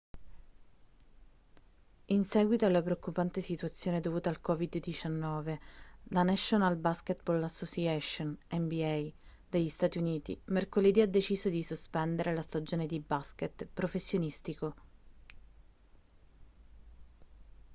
in seguito alla preoccupante situazione dovuta al covid-19 la national basketball association nba degli stati uniti mercoledì ha deciso di sospendere la stagione di basket professionistico